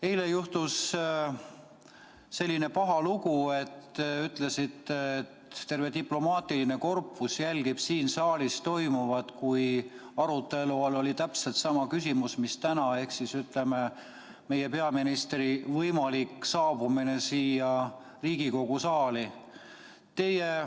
Eile juhtus selline paha lugu, te ütlesite, et terve diplomaatiline korpus jälgis siin saalis toimuvat, kui arutelu all oli täpselt sama küsimus mis täna ehk siis meie peaministri võimalik saabumine siia Riigikogu saali.